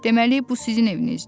Deməli bu sizin evinizdir?